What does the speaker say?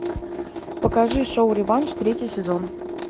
покажи шоу реванш третий сезон